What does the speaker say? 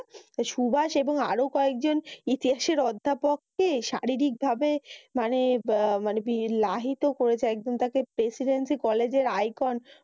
তা সুভাষ এবং আরও কয়েকজন ইতিহাসের অধ্যাপককে শারীরিকভাবে মানি আহ মানি বি~লাহিত করেছে। একদম তাকে প্রেসিড্রেসি কলেজের আইকন